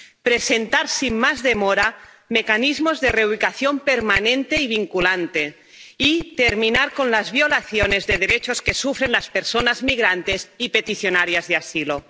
presentar, sin más demora, mecanismos de reubicación permanente y vinculante, y terminar con las violaciones de derechos que sufren las personas migrantes y peticionarias de asilo.